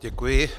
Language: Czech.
Děkuji.